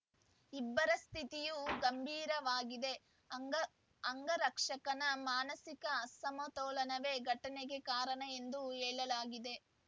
ಇಬ್ಬರ ಸ್ಥಿತಿಯೂ ಗಂಭೀರವಾಗಿದೆಅಂಗ ಅಂಗರಕ್ಷಕನ ಮಾನಸಿಕ ಅಸಮತೋಲನವೇ ಘಟನೆಗೆ ಕಾರಣ ಎಂದು ಹೇಳಲಾಗಿದೆ